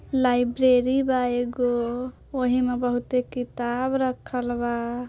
Library बा एक गो ओहिमें बहुत ही किताब रखल बा।